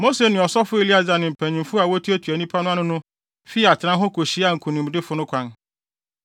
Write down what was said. Mose ne ɔsɔfo Eleasar ne mpanyimfo a wotuatua nnipa no ano no fii atenae hɔ kohyiaa nkonimdifo no kwan.